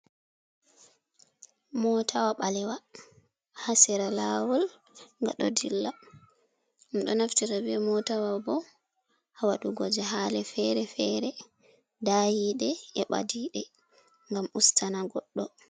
Motawa ɓalewa haa sera lawol ga ɗo dilla. Ɗum ɗo naftita be motawa bo haa waɗugo jahale feere-feere, dayiɗe e ɓadiɓe ngam ustana goɗɗo.